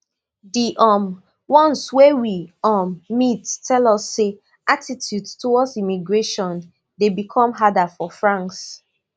di um ones wey we um meet tell us say attitudes towards immigration dey become harder for france